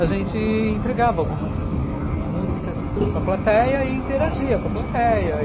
A gente entregava algumas músicas para a plateia e interagia com a plateia.